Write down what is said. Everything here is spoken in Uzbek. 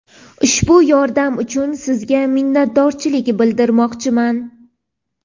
Ushbu yordam uchun sizga minnatdorchilik bildirmoqchiman.